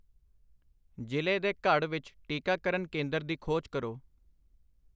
ਜ਼ਿਲ੍ਹੇ ਦੇ ਘੜ ਵਿੱਚ ਟੀਕਾਕਰਨ ਕੇਂਦਰ ਦੀ ਖੋਜ ਕਰੋ